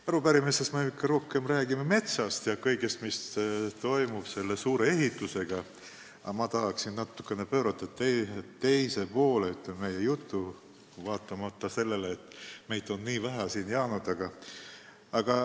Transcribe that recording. Arupärimises räägiti rohkem metsast ja kõigest, mis on seotud selle suure ehitusega, aga ma tahaksin meie jutu pöörata natuke teisele poole, vaatamata sellele, et meid on nii vähe siia jäänud.